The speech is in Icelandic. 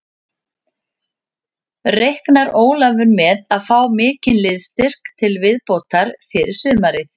Reiknar Ólafur með að fá mikinn liðsstyrk til viðbótar fyrir sumarið?